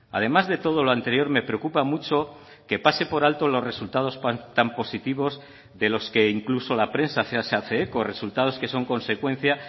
además de todo lo anterior me preocupa mucho que pase por alto los resultados tan positivos de los que incluso la prensa se hace eco resultados que son consecuencia